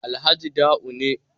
Alhaji Da'u ne